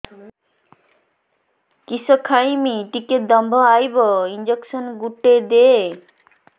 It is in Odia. କିସ ଖାଇମି ଟିକେ ଦମ୍ଭ ଆଇବ ଇଞ୍ଜେକସନ ଗୁଟେ ଦେ